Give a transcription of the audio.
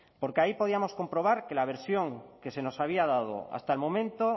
porque ahí podíamos comprobar que la versión que se nos había dado hasta el momento